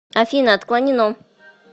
афина отклонено